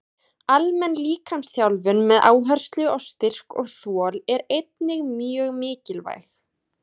Almenn líkamsþjálfun með áherslu á styrk og þol er einnig mjög mikilvæg.